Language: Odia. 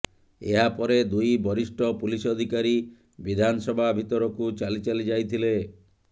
ଏହା ପରେ ଦୁଇ ବରିଷ୍ଠ ପୁଲିସ ଅଧିକାରୀ ବିଧାନସଭା ଭିତରକୁ ଚାଲି ଚାଲି ଯାଇଥିଲେ